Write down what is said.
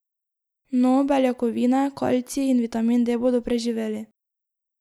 No, beljakovine, kalcij in vitamin D bodo preživeli.